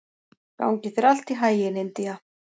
Gangi þér allt í haginn, Indía.